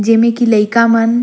जे मि के लइका मन--